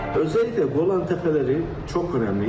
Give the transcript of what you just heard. Özellikle Qolan təpələri çox önəmli.